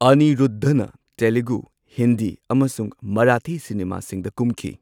ꯑꯅꯤꯔꯨꯗꯙꯅ ꯇꯦꯂꯨꯒꯨ, ꯍꯤꯟꯗꯤ, ꯑꯃꯁꯨꯡ ꯃꯔꯥꯊꯤ ꯁꯤꯅꯦꯃꯥꯁꯤꯡꯗ ꯀꯨꯝꯈꯤ꯫